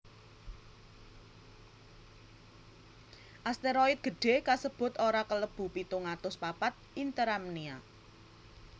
Asteroid gedhé kasebut ora kalebu pitung atus papat Interamnia